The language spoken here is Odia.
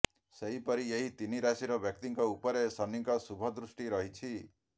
ସେହିପରି ଏହି ତିନି ରାଶିର ବ୍ୟକ୍ତିଙ୍କ ଉପରେ ଶନିଙ୍କ ଶୁଭ ଦୃଷ୍ଟି ରହିଛି